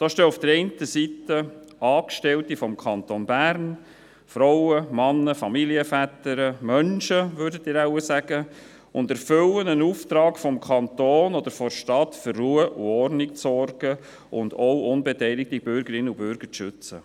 Da stehen auf der einen Seite Angestellte des Kantons Bern, Frauen, Männer, Familienväter – Menschen, würden Sie wahrscheinlich sagen –, und erfüllen einen Auftrag des Kantons oder der Stadt, für Ruhe und Ordnung zu sorgen und auch unbeteiligte Bürgerinnen und Bürger zu schützen.